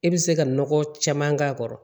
E bɛ se ka nɔgɔ caman k'a kɔrɔ